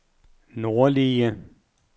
nordlige